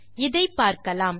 இதை பார்க்கலாம்